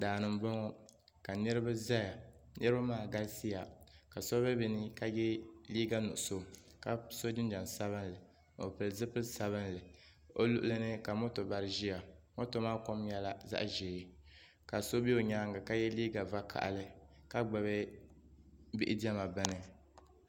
Daa ni m-bɔŋɔ ka niriba zaya niriba maa galisiya ka so be bɛ nii ka ye liiga nuɣuso ka so jinjam sabinli o pili zipili sabinli o luɣili ni ka moto gba ʒiya moto maa kom nyɛla zaɣ'ʒee ka so be o nyaaŋa ka ye liiga vakahili ka gbubi bihi diɛma bini.